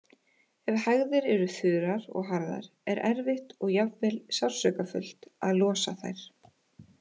Ef hægðir eru þurrar og harðar er erfitt og jafnvel sársaukafullt að losa þær.